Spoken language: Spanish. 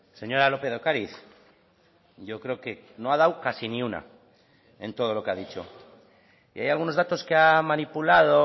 señora lópez de ocariz yo creo que no ha dado casi ni una en todo lo que ha dicho y hay algunos datos que ha manipulado